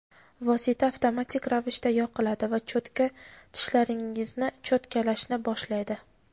vosita avtomatik ravishda yoqiladi va cho‘tka tishlaringizni cho‘tkalashni boshlaydi.